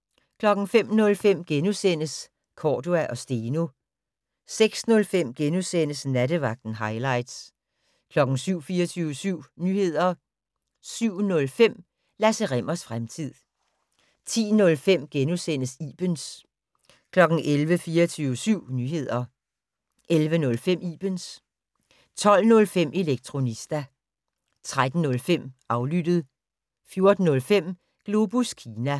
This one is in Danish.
05:05: Cordua & Steno * 06:05: Nattevagten - hightlights * 07:00: 24syv Nyheder 07:05: Lasse Rimmers fremtid 10:05: Ibens * 11:00: 24syv Nyheder 11:05: Ibens 12:05: Elektronista 13:05: Aflyttet 14:05: Globus Kina